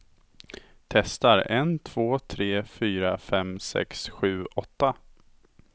Testar en två tre fyra fem sex sju åtta.